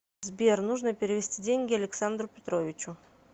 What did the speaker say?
сбер нужно перевести деньги александру петровичу